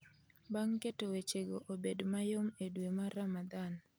bang' keto wechego obed mayom e dwe mar Ramadhan